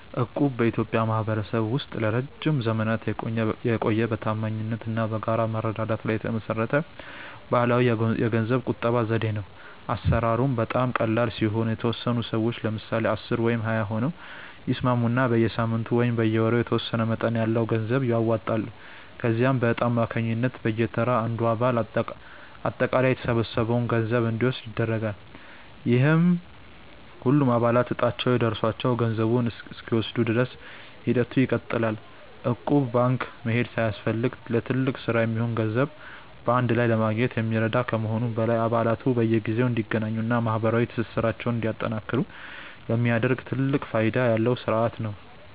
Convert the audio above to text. እቁብ በኢትዮጵያ ማኅበረሰብ ውስጥ ለረጅም ዘመናት የቆየ፣ በታማኝነት እና በጋራ መረዳዳት ላይ የተመሠረተ ባሕላዊ የገንዘብ ቁጠባ ዘዴ ነው። አሠራሩም በጣም ቀላል ሲሆን፤ የተወሰኑ ሰዎች (ለምሳሌ 10 ወይም 20 ሆነው) ይስማሙና በየሳምንቱ ወይም በየወሩ የተወሰነ መጠን ያለው ገንዘብ ያዋጣሉ። ከዚያም በዕጣ አማካኝነት በየተራ አንዱ አባል አጠቃላይ የተሰበሰበውን ገንዘብ እንዲወስድ ይደረጋል፤ ይህም ሁሉም አባላት ዕጣቸው ደርሷቸው ገንዘቡን እስኪወስዱ ድረስ ሂደቱ ይቀጥላል። እቁብ ባንክ መሄድ ሳያስፈልግ ለትልቅ ሥራ የሚሆን ገንዘብ በአንድ ላይ ለማግኘት የሚረዳ ከመሆኑም በላይ፣ አባላቱ በየጊዜው እንዲገናኙና ማኅበራዊ ትስስራቸውን እንዲያጠናክሩ የሚያደርግ ትልቅ ፋይዳ ያለው ሥርዓት ነው።